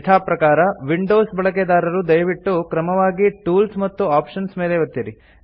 ಯಥಾ ಪ್ರಕಾರ ವಿಂಡೋಸ್ ಬಳಕೆದಾರರು ದಯವಿಟ್ಟು ಕ್ರಮವಾಗಿ ಟೂಲ್ಸ್ ಮತ್ತು ಆಪ್ಷನ್ಸ್ ಮೇಲೆ ಒತ್ತಿರಿ